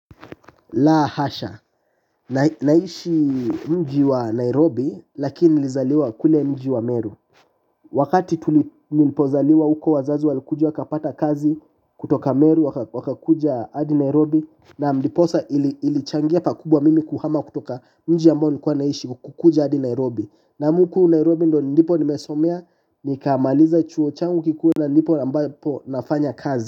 La hasha, naishi mji wa Nairobi lakini nilizaliwa kule mji wa Meru. Wakati tulipozaliwa huko wazazi walikuja wakapata kazi kutoka Meru wakakuja hadi Nairobi. Nam ndiposa ilichangia pakubwa mimi kuhama kutoka mji ambao nilikuwa naishi kukuja hadi Nairobi. Nam huku Nairobi ndo nipo nimesomea nikaamaliza chuo changu kikuwa na ndipo nafanya kazi.